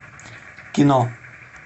кино